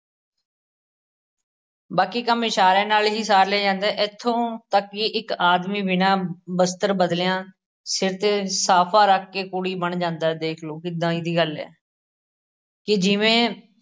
ਬਾਕੀ ਕੰਮ ਇਸ਼ਾਰਿਆਂ ਨਾਲ ਹੀ ਸਾਰ ਲਏ ਜਾਂਦੇ ਇੱਥੋਂ ਤੱੱਕ ਕਿ ਇੱਕ ਆਦਮੀ ਬਿਨਾ ਵਸਤਰ ਬਦਲਿਆ ਸ਼ਿਰ ਤੇ ਸਾਫ਼ਾ ਰੱਖ ਕੇ ਕੂਲੀ ਬਣ ਜਾਂਦਾ ਏ ਦੇਖਲੋ ਕਿਦਾਂ ਈ ਦੀ ਗੱਲ ਏ ਕਿ ਜਿਵੇਂ